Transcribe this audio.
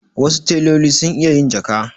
Wasu teloli sun iya yin jaka.